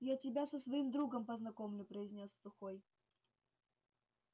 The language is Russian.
я тебя со своим другом познакомлю произнёс сухой